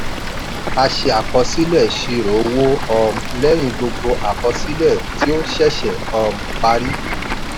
a ṣe àkọsílẹ̀ ìṣirò owó um lẹ́yìn gbogbo àkọsílẹ̀ ti o ṣẹ̀ṣẹ̀ um parí.